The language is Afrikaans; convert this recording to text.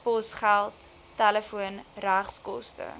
posgeld telefoon regskoste